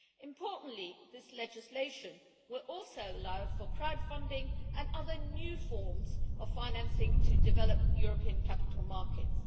Importantly, this legislation will also allow for crowdfunding and other new forms of financing to develop European capital markets.